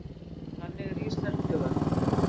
Þannig er íslenskt hugarfar.